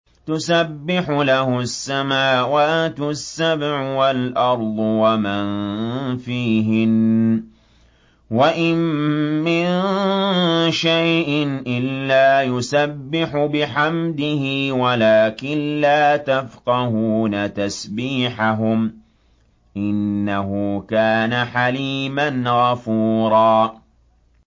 تُسَبِّحُ لَهُ السَّمَاوَاتُ السَّبْعُ وَالْأَرْضُ وَمَن فِيهِنَّ ۚ وَإِن مِّن شَيْءٍ إِلَّا يُسَبِّحُ بِحَمْدِهِ وَلَٰكِن لَّا تَفْقَهُونَ تَسْبِيحَهُمْ ۗ إِنَّهُ كَانَ حَلِيمًا غَفُورًا